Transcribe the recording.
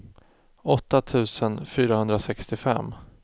åtta tusen fyrahundrasextiofem